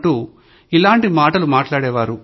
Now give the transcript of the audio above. అంటూ ఇట్లాంటి మాటలు మాట్లాడే వాళ్లు